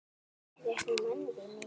Hefjast nú mannvíg mikil.